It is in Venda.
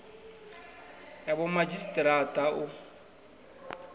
ya vhomadzhisi ara a u